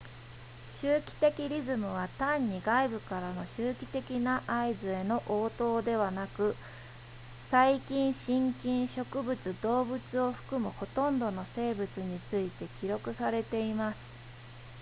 周期的リズムは単に外部からの周期的な合図への応答ではなく細菌真菌植物動物を含むほとんどの生物について記録されています